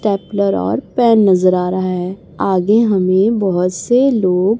stapler और pen नजर आ रहा है आगे हमें बहोत से लोग--